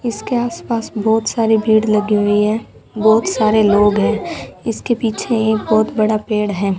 इसके आस पास बहुत सारी भीड़ लगी हुई है बहुत सारे लोग हैं इसके पीछे एक बहोत बड़ा पेड़ है।